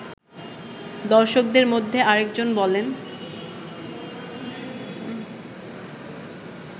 দর্শকদের মধ্যে আরেকজন বলেন